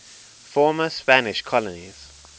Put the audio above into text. former spanish colonies